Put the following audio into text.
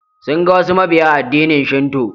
Sun ga wasu mabiya addinin shinto.